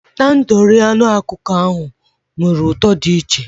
Tandoori anụ ọkụkọ ahụ nwere ụtọ dị iche